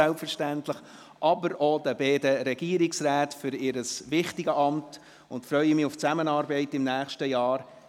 Ich gratuliere aber auch den beiden Regierungsräten zur Wahl in diese wichtigen Ämter und freue mich auf die Zusammenarbeit im nächsten Jahr.